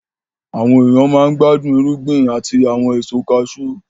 Àwọn èèyàn máa n gbádùn irúgbìn àti àwọn ẹ̀so kaasú